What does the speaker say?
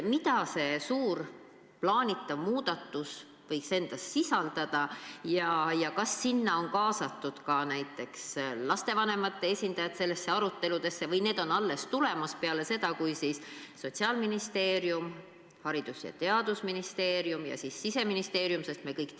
Mida see suur plaanitav muudatus võiks endas sisaldada ja kas on kaasatud näiteks ka lastevanemate esindajad nendesse aruteludesse või on need alles tulemas peale seda Sotsiaalministeeriumi, Haridus- ja Teadusministeeriumi ja Siseministeeriumi?